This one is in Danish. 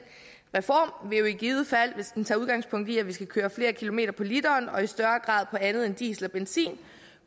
reform vil jo i givet fald hvis den tager udgangspunkt i at vi skal køre flere kilometer på literen og i større grad på andet end diesel og benzin